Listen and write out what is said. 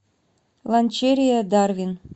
ланчерия дарвин